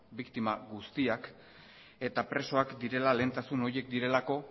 biktima guztiak eta presoak direla lehentasun horiek direlako